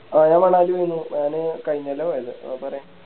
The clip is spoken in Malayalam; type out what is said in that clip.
ആ ഞാ മണാലി പോയിന് ഞാന് കയിഞ്ഞകൊല്ല പോയത് ആ പറയ്